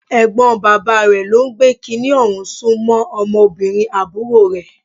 Ẹ̀gbọ́n bàbá rẹ̀ ló ń gbé kiní ọ̀hún sún mọ́ ọmọbìnrin àbúrò rẹ̀.